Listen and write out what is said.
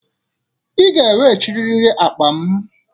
Ị ga-eweghachiriri akpa m!